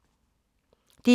DR1